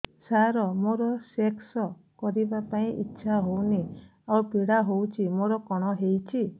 ସାର ମୋର ସେକ୍ସ କରିବା ପାଇଁ ଇଚ୍ଛା ହଉନି ଆଉ ପୀଡା ହଉଚି ମୋର କଣ ହେଇଛି